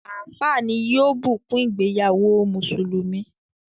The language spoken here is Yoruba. Àfááà ní yóò bùkún ìgbéyàwó mùsùlùmí.